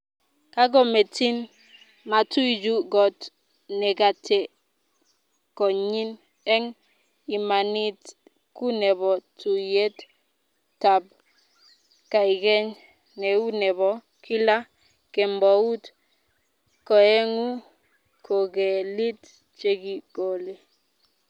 Kagometin, matuy juu got negatekonyen, eng imanit ku nebo tuiyet tab kaikeny neu nebo kila kembout koegu kogelik chekikole